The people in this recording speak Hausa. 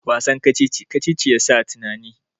Wasan kacici-kacici ya sa tunani